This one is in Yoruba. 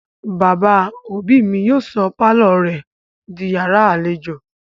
Bàbá òbí mi yóò sọ pálọ̀ rẹ̀ di yàrá-àlejò